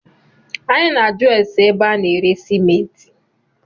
Anyị na ajụ ase ébé a na-ere simenti